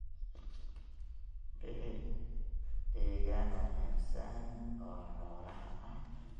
Bixi deegaan wanaagsan oo xoolaha ah.